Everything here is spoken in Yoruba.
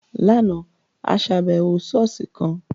Láàna, a ṣàbẹwò ṣọ̀ọ́sì kan.